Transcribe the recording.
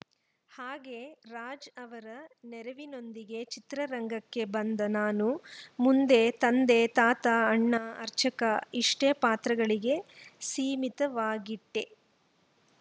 ಹಾಗೆ ರಾಜ್‌ ಅವರ ನೆರವಿನೊಂದಿಗೆ ಚಿತ್ರರಂಗಕ್ಕೆ ಬಂದ ನಾನು ಮುಂದೆ ತಂದೆ ತಾತ ಅಣ್ಣ ಅರ್ಚಕ ಇಷ್ಟೇ ಪಾತ್ರಗಳಿಗೆ ಸೀಮಿತವಾಗಿಟ್ಟೆ